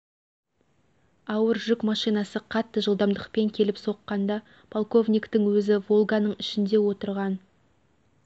ауыр жүк машинасы қатты жылдамдықпен келіп соққанда полковниктің өзі волганың ішінде отырған